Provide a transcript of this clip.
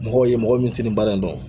Mɔgɔw ye mɔgɔ min tɛ nin baara in dɔn